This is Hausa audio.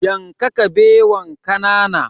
Yanka Kabewan kanana.